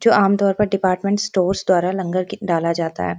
जो आम तौर पर डिपार्ट्मन्ट स्टोर्स द्वारा डाला जाता है|